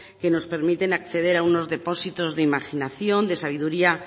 que nos permiten acceder a unos depósitos de imaginación de sabiduría